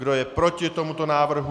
Kdo je proti tomuto návrhu?